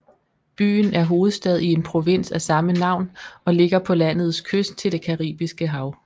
Byen er hovedstad i en provins af samme navn og ligger på landets kyst til det Caribiske hav